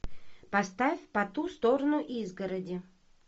поставь по ту сторону изгороди